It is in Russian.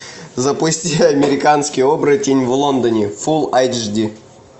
запусти американский оборотень в лондоне фул айч ди